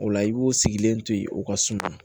O la i b'o sigilen to yen o ka suma